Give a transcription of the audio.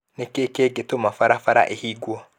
Nĩ kĩĩ kĩngĩtũma barabara ĩhingwo?